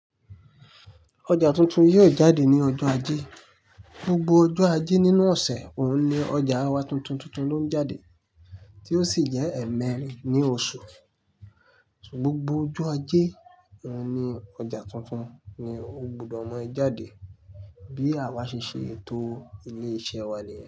Oja tuntun yóò jáde ní ọjọ́ ajé. Gbogbo ọjọ́ ajé nínú ọ̀sẹ̀ òun ni ọjà wa tuntun tuntun ló ń jáde tí ó sì jẹ́ ẹ̀mẹ́rin ní oṣù. Gbogbo ọjọ́ ajé òun ni ọjà tuntun ni ó gbúdọ̀ mọ jáde bí àwa ṣe ṣe ètò ilé iṣẹ́ wa nìyẹn.